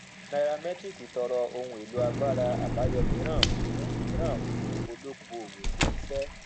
nairametrics tọrọ ohun èlò agbára abayọ míràn fún míràn fún olokoowo ṣe iṣẹ